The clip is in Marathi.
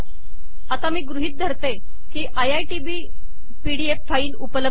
आता मी गृहीत धरते की आयआयटीबीपीडीएफ् फाईल उपलब्ध आहे